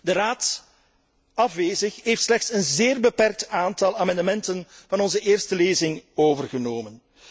is. De Raad, afwezig, heeft slechts een zeer beperkt aantal amendementen van onze eerste lezing overgenomen.